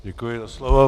Děkuji za slovo.